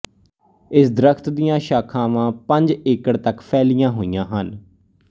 ਇਸ ਦਰਖਤ ਦੀਆਂਸ਼ਾਖਾਵਾਂਪੰਜ ਏਕਡ਼ ਤੱਕ ਫੈਲੀ ਹੋਈਆਂ ਹਨ